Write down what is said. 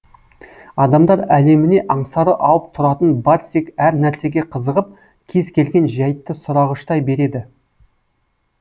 адамдар әлеміне аңсары ауып тұратын барсик әр нәрсеге қызығып кез келген жәйтті сұрағыштай береді